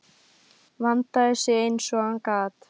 Vandaði sig eins og hann gat.